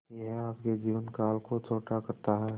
यह आपके जीवन काल को छोटा करता है